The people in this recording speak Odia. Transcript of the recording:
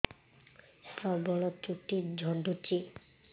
ପ୍ରବଳ ଚୁଟି ଝଡୁଛି